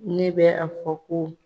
Ne bɛ a fɔ ko